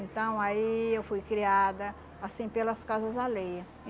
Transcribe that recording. Então, aí, eu fui criada, assim, pelas casas alheia.